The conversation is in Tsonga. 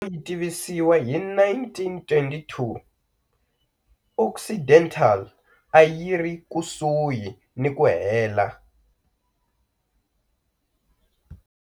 Yi tivisiwa hi 1922, Occidental a yi ri kusuhi ni ku hela.